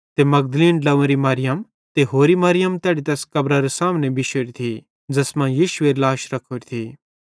ते मगदलीन ड्लव्वेरी मरियम ते होरि मरियम तैड़ी तैस कब्रारे सामने बिशोरी थी ज़ैस मां यीशुएरी लाश रखोरी थी